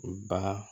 U ba